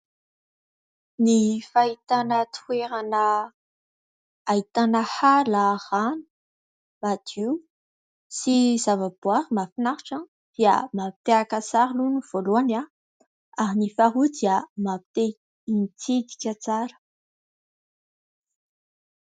Ny fahitana toerana ahitana ala, rano madio sy zava-boahary mahafinaritra dia mampite haka sary aloha ny voalohany ary ny faharoa dia mampite hitsidika tsara.